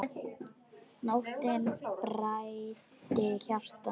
Nóttin bræddi hjarta mitt.